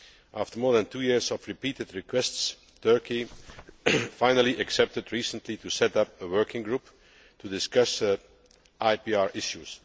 After more than two years of repeated requests, Turkey finally accepted recently to set up a working group to discuss IPR issues.